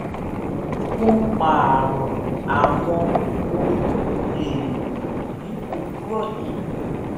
mo pààrọ àwọn ohun èèlò ní òwúrọ yìí